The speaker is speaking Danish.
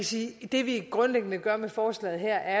sige at det vi grundlæggende gør med forslaget her